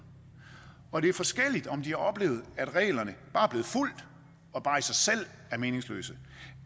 og det er forskelligt om de har oplevet at reglerne er blevet fulgt og bare i sig selv er meningsløse